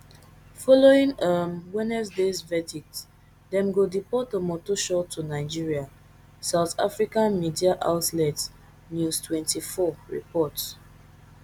following um wednesdays verdict dem go deport omotoso to nigeria south african media outlet newstwenty-four report